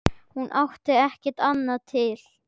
Hún átti ekki annað til.